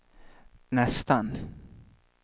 nästan